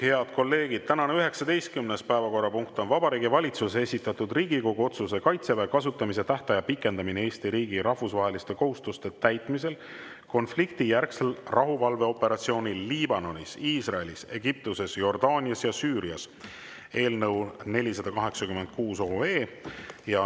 Head kolleegid, tänane 19. päevakorrapunkt on Vabariigi Valitsuse esitatud Riigikogu otsuse "Kaitseväe kasutamise tähtaja pikendamine Eesti riigi rahvusvaheliste kohustuste täitmisel konfliktijärgsel rahuvalveoperatsioonil Liibanonis, Iisraelis, Egiptuses, Jordaanias ja Süürias" eelnõu 486.